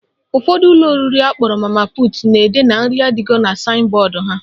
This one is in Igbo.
Ụfọdụ ụlọ oriri akpọrọ mama put na-ede na "nri adigo" na saịn bọọdụ ha.